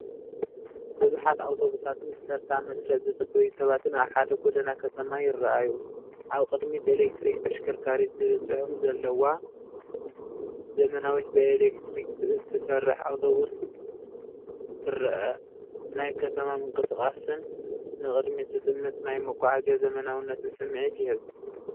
ብዙሓት ኣውቶቡሳትን ብተርታ/ መስርዕ ዝጽበዩ ሰባትን ኣብ ሓደ ጎደና ከተማ ይረኣዩ። ኣብ ቅድሚት "ኤሌክትሪክ ተሽከርካሪት" ዝብል ጽሑፍ ዘለዋ ዘመናዊት ብኤሌክትሪክ እትሰርሕ ኣውቶቡስ ትርአ። ናይ ከተማ ምንቅስቓስን ንቕድሚት ዝጥምት ናይ መጓዓዝያ ዘመናዊነትን ስምዒት ይህብ።